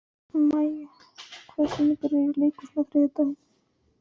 Maj, hvaða sýningar eru í leikhúsinu á þriðjudaginn?